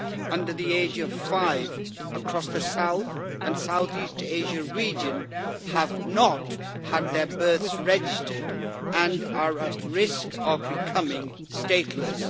under the age of five, across the South and South East Asia region, have not had their births registered and are at risk of becoming stateless.